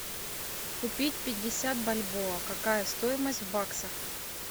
купить пятьдесят бальбоа какая стоимость в баксах